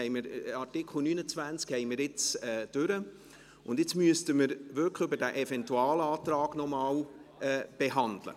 Den Artikel 29 haben wir behandelt, und nun müssten wir noch den Eventualantrag behandeln.